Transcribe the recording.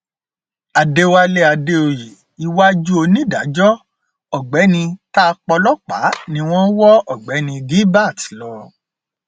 àdẹwálé àdèoyè iwájú onídàájọ ọgbẹni ta pọlọpà ni wọn wọ ọgbẹni gilbert lọ